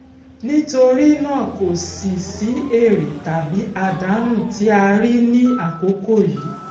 nítorí nàá kò sí sí èrè tàbí àdánù tí a rí ní àkókò yìí